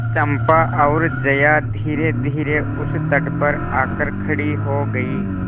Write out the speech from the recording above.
चंपा और जया धीरेधीरे उस तट पर आकर खड़ी हो गई